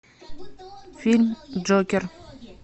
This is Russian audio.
фильм джокер